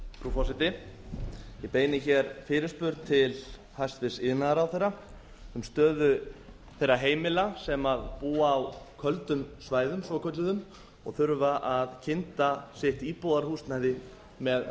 forseti ég beini fyrirspurn til hæstvirts iðnaðarráðherra um stöðu þeirra heimila sem búa á kvöldum svæðum svokölluðum og þurfa að kynda sitt íbúðarhúsnæði með